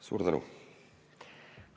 Suur tänu!